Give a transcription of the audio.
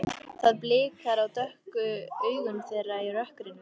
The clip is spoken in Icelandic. Það blikar á dökku augun þeirra í rökkrinu.